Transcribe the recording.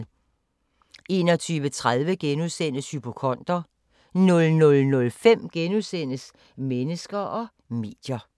21:30: Hypokonder * 00:05: Mennesker og medier *